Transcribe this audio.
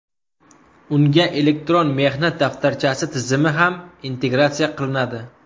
Unga elektron mehnat daftarchasi tizimi ham integratsiya qilinadi.